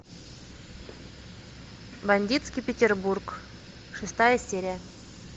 бандитский петербург шестая серия